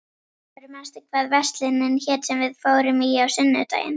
Oddbergur, manstu hvað verslunin hét sem við fórum í á sunnudaginn?